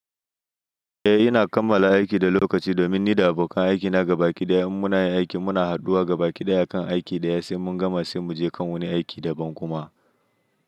Eh ina kammala aiki da lokaci domin ni da abokan aikina gabakiɗaya in muna yin aiki muna haɗuwa gabakiɗaya kan aiki ɗaya sai mun gama sai mu je kan wani aiki daban kuma.